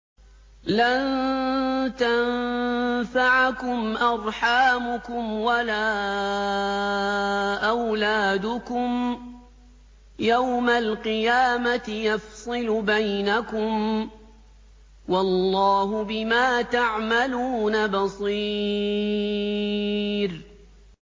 لَن تَنفَعَكُمْ أَرْحَامُكُمْ وَلَا أَوْلَادُكُمْ ۚ يَوْمَ الْقِيَامَةِ يَفْصِلُ بَيْنَكُمْ ۚ وَاللَّهُ بِمَا تَعْمَلُونَ بَصِيرٌ